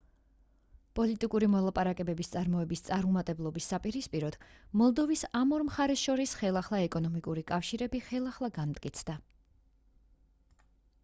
პოლიტიკური მოლაპარაკებების წარმოებების წარუმატებლობის საპირისპიროდ მოლდოვის ამ ორ მხარეს შორის ხელახლა ეკონომიკური კავშირები ხელახლა განმტკიცდა